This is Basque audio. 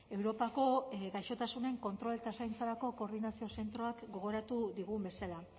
europako gaixotasunen kontrol eta zaintzarako koordinazio zentroak gogoratu digun bezala